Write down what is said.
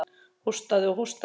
Hóstaði og hóstaði.